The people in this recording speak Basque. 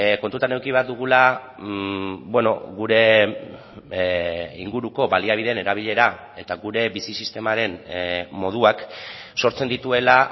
kontutan eduki behar dugula gure inguruko baliabideen erabilera eta gure bizi sistemaren moduak sortzen dituela